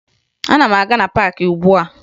Ana m aga na paakị ugbua